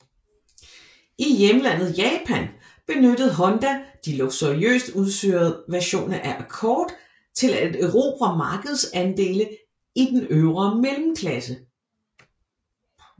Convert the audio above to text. I hjemlandet Japan benyttede Honda de luksuriøst udstyrede versioner af Accord til at erobre markedsandele i den øvre mellemklasse